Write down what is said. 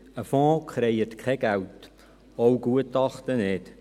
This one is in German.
Ein Fonds kreiert kein Geld, auch Gutachten nicht.